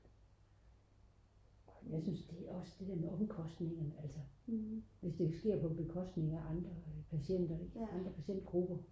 jeg synes det er også det der med omkostningerne ikke altså hvis det sker på bekostning af andre patienter eller patientgrupper